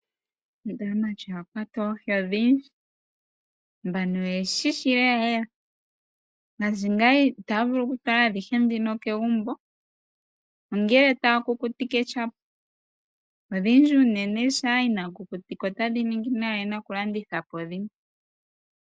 Ndele aamati oya kwata oohi odhindji. Mbano oye shi shi lelalela. Ngaashi ngaaka itaya vulu okufala adhihe ndhoka kegumbo. Ongele taya kukutike shila. Odhindji unene, shampa inaaya kukutika otadhi ningi nayi. Oya li ye na okulanditha po dhimwe.